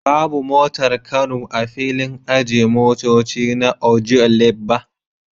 Babu motar kano a filin ajiye motoci na Ojuelegba